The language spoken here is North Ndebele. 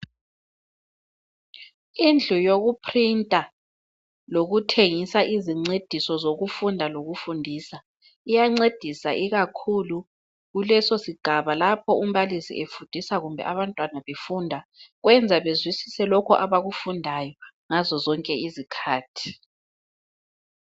Indlu yokuprinter lokuthengisa izincediso zokufunda lokufundisa iyancendisa ikakhulu kulesosigaba lapho umbalisi efundisa kumbe abantwana befunda. Kwenza bezwisise lokho abakufundayo ngazozonke izikhathi.